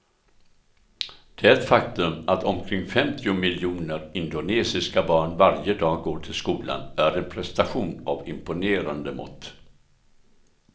Det faktum att omkring femtio miljoner indonesiska barn varje dag går till skolan är en prestation av imponerande mått.